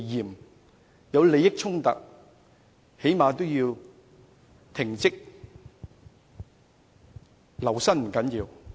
當有利益衝突時，他們起碼也應停職吧？